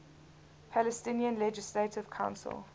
palestinian legislative council